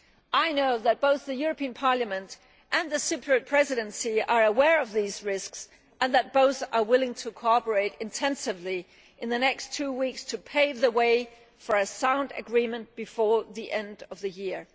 I know that both Parliament and the Cyprus Presidency are aware of these risks and that both are willing to cooperate intensively in the next two weeks to pave the way for a sound agreement before the end of the year.